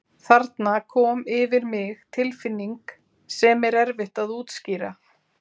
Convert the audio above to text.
Þarna kom yfir mig tilfinning sem er erfitt að útskýra.